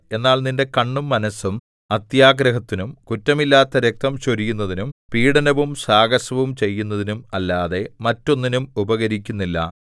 എന്നാൽ നിന്റെ കണ്ണും മനസ്സും അത്യാഗ്രഹത്തിനും കുറ്റമില്ലാത്ത രക്തം ചൊരിയുന്നതിനും പീഡനവും സാഹസവും ചെയ്യുന്നതിനും അല്ലാതെ മറ്റൊന്നിനും ഉപകരിക്കുന്നില്ല